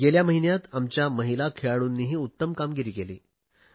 गेल्या महिन्यात आमच्या महिला खेळाडूंनीही उत्तम कामगिरी केली